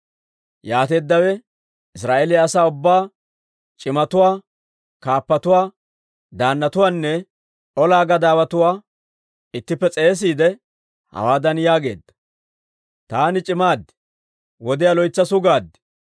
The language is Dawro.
Yaateeddawe Israa'eeliyaa asaa ubbaa, c'imatuwaa, kaappatuwaa, daannatuwaanne ola gadaawatuwaa ittippe s'eesiide, hawaadan yaageedda; «Taani c'imaade, wodiyaa loytsa sugaad.